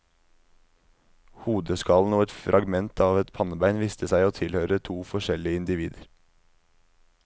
Hodeskallen og et fragment av et pannebein viste seg å tilhøre to forskjellige individer.